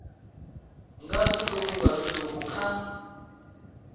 nga zwiṱuku nga zwiṱuku kha